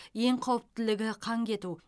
ең қауіптілігі қан кету